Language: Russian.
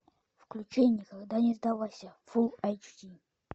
включи никогда не сдавайся фул эйч ди